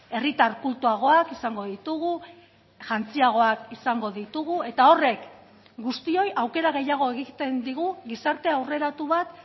herritar kultuagoak izango ditugu jantziagoak izango ditugu eta horrek guztioi aukera gehiago egiten digu gizarte aurreratu bat